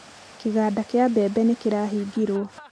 kĩganda kĩa mbembe nĩkĩrahĩngĩrwo.